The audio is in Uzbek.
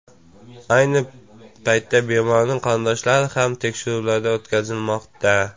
Ayni paytda bemorning qarindoshlari ham tekshiruvlardan o‘tkazilmoqda.